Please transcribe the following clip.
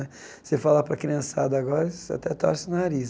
Se falar para a criançada agora, eles até torce o nariz.